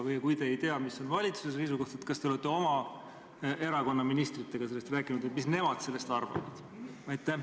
Või kui te ei tea, mis on valitsuse seisukoht, siis kas te olete oma erakonna ministritega rääkinud, mis nemad sellest arvavad?